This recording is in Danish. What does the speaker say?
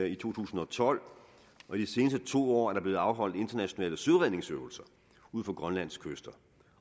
i to tusind og tolv og de seneste to år er der blevet afholdt internationale søredningsøvelser ud for grønlands kyster